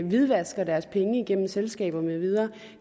hvidvasker deres penge igennem selskaber med videre